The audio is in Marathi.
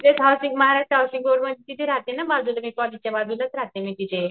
तिथं राहते मी ना बाजूला कॉलेजच्या बाजूलाच राहते मी तिथे.